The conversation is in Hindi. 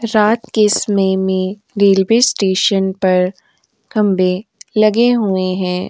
रात के समय में रेलवे स्टेशन पर खंबे लगे हुए हैं।